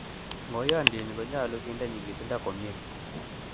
ng'oyondini konyolu kinde nyikisindo komie